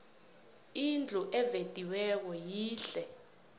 indlu evediweko yihle